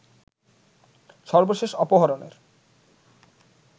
সর্বশেষ অপহরণের